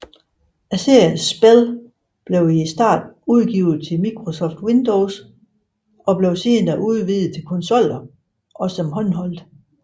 Seriens spil blev i starten udgivet til Microsoft Windows og blev senere udvidet til konsoller og som håndholdt